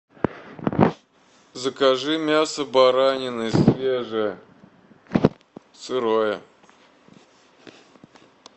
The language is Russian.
закажи мясо баранины свежее сырое